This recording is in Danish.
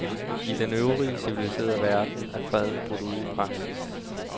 I den øvrige civiliserede verden er freden brudt ud i praksis.